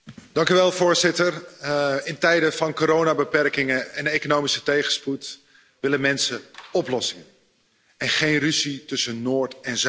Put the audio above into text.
Voorzitter, in tijden van coronabeperkingen en economische tegenspoed willen mensen oplossingen en geen ruzie tussen Noord en Zuid.